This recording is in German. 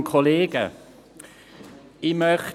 das Erreichen der Ziele des Klimavertrags von Paris.